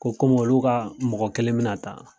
Ko kɔmi olu ka mɔgɔ kelen bɛ na taa.